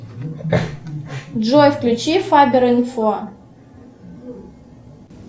джой включи фаберинфо